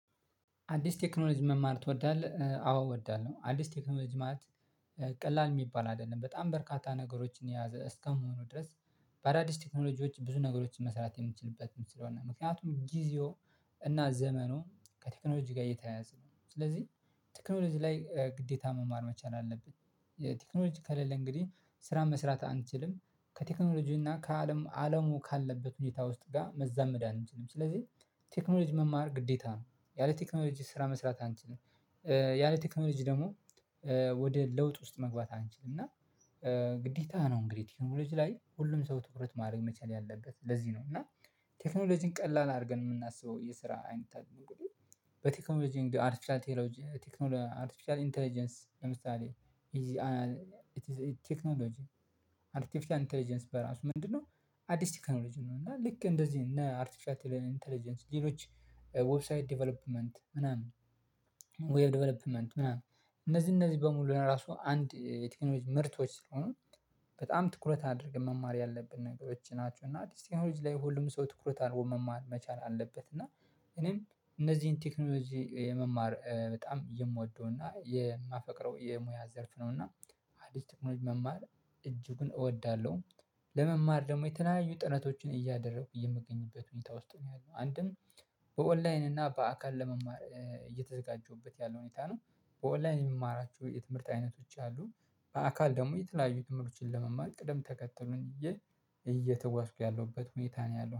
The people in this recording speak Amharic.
አዲስ ቴክኖሎጂ መማር ትወዳለህ? አዎ እወዳለሁ አዲስ ቴክኖሎጂ ማለት ቀላል የሚባል አይደለም በጣም በርካታ ነገሮችን የያዘ እስከመሆኑ ድረስ። በአዳዲስ ቴክኖሎጂዎች ብዙ ነገሮችን መስራት የምንችልበትም ስለሆነ ምክንያቱም ጊዜው እና ዘመኑ ከቴክኖሎጂ ጋር የተያያዘ ነው። ስለዚህ ቴክኖሎጂ ላይ ግዴታ መማር መቻል አለብኝ። ቴክኖሎጂ ከሌለ እንግዲህ ስራ መስራት አንችልም። ከቴክኖሎጂ እና ከአለም አለሙ ካለበት ሁኔታ ውስጥ ጋር መዛመድ አንችልም። ስለዚህ ቴክኖሎጂ መማር ግዴታ ነው። ያለ ቴክኖሎጂ ስራ መስራት አንችልም። ያለ ቴክኖሎጂ ደግሞ ወደ ለውጥ ውስጥ መግባት አንችልም። እና ግዴታ ነው እንግዲህ ቴክኖሎጂ ላይ ሁሉም ሰው ትኩረት ማድረግ መቻል ያለበት ለዚህ ነው። እና ቴክኖሎጂን ቀላል አድርገን የምናስበው የስራ አይነት አድርገን። በቴክኖሎጂ እንግዲህ አርቲፊሻል ቴክኖሎጂ አርቴፊሻል ኢንተለጀንስ ለምሳሌ። ቴክኖሎጂ አርቴፊሻል ኢንተለጀንስ በራሱ ምንድነው? አዲስ ቴክኖሎጂ ነው። እና ልክ እንደዚህ እነ አርቴፊሻል ኢንተለጀንስ ሌሎች ዌብሳይት ዴቨሎፕመንት ምናምን ዌብ ዴቨሎፕመንት ምናምን። እነዚህ እነዚህ በሙሉ ራሱ አንድ የቴክኖሎጂች ምርቶች ስለሆኑ በጣም ትኩረት አድርገን መማር ያለብን ነገሮች ናቸው። እና ቴክኖሎጂ ላይ ሁሉም ሰው ትኩረት አድርጎ መማር መቻል አለበት። እና እኔም እነዚህን ቴክኖሎጂ የመማር በጣም የምወደው እና የማፈቅረው የሙያ ዘርፍ ነው። እና አዲስ ቴክኖሎጂ መማር እጅጉን እወዳለሁ። ለመማር ደግሞ የተለያዩ ጥናቶችን እያደረኩ የምገኝበት ሁኔታ ውስጥ ነው ያለነው። አንድም በኦንላይን እና በአካል ለመማር ያለው ሁኔታ ነው። በኦላይን የምማራቸው የትምህርት አይነቶች አሉ። በአካል ደግሞ የተለያዩ ትምህርቶችን ለመማር ቅደም ተከትሉን ይዤ እየተጓዝኩ ያለሁበት ሁኔታ ነው ያለሁት